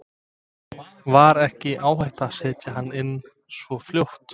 Var ekki áhætta að setja hana inn svo fljótt?